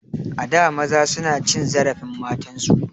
A da maza suna cin zarafin matan su.